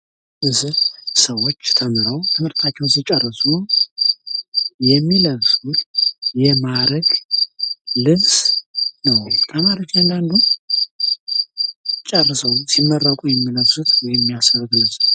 በዚህ ምስል ሰዎች ትምህርታቸውን ሲጨርሱ የሚለብሱት የማእረግ ልብስ ነው። ተማሪዎቹ እያንዳንዱ ተምረው ሲጨርሱ የሚለብሱት ወይም የሚያሰሩት ልብስ ነው።